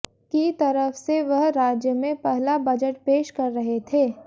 की तरफ से वह राज्य में पहला बजट पेश कर रहे थे